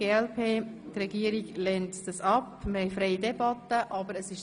Die Regierung lehnt sie ab, und wir haben eine freie Debatte vorgesehen.